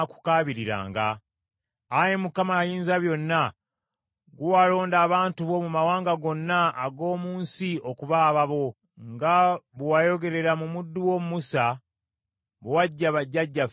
Ayi Mukama Ayinzabyonna gwe walonda abantu bo mu mawanga gonna ag’omu nsi okuba ababo, nga bwe wayogerera mu muddu wo Musa, bwe waggya bajjajjaffe mu Misiri.”